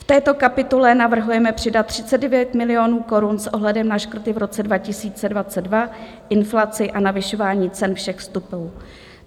V této kapitole navrhujeme přidat 39 milionů korun s ohledem na škrty v roce 2022, inflaci a navyšování cen všech vstupů.